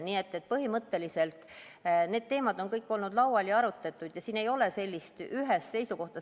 Nii et põhimõtteliselt need teemad on kõik olnud laual ja neid on arutatud ja siin ei ole ühest seisukohta.